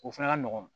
O fana ka nɔgɔn